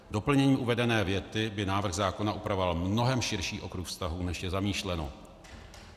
Doplněním uvedené věty by návrh zákona upravoval mnohem širší okruh vztahů, než je zamýšleno.